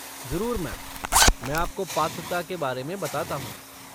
ज़रूर, मैम! मैं आपको पात्रता के बारे में बताता हूँ।